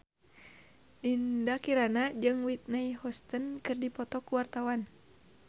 Dinda Kirana jeung Whitney Houston keur dipoto ku wartawan